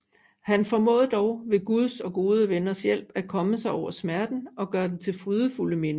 Han formåede dog ved Guds og gode venners hjælp at komme sig over smerten og gøre den til frydefulde minder